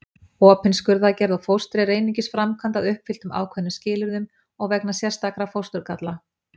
Opin skurðaðgerð á fóstri er einungis framkvæmd að uppfylltum ákveðnum skilyrðum og vegna sérstakra fósturgalla.